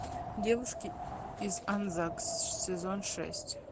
девушки из анзак сезон шесть